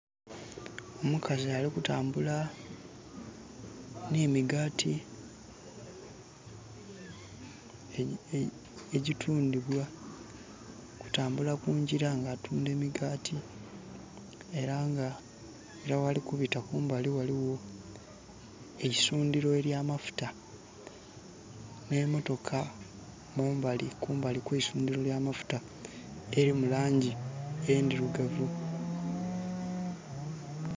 Omukazi alikutambula n'emigaati egyitundibwa. Alikutambula kungira nga atunda emigaati. Era nga ghali kubita kumbali ghaligho eisundhiro ely'amafuta, n'emotoka kumbali kw'eisundhiro ly'amafuta, elimu laangi endhirugavu.